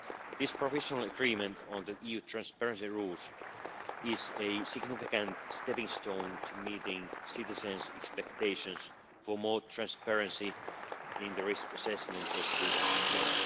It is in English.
This provisional agreement on the EU transparency rules is a significant stepping stone to meeting citizens' expectations for more transparency in the risk assessment of the food chain.